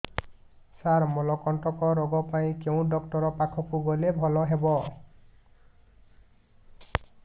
ସାର ମଳକଣ୍ଟକ ରୋଗ ପାଇଁ କେଉଁ ଡକ୍ଟର ପାଖକୁ ଗଲେ ଭଲ ହେବ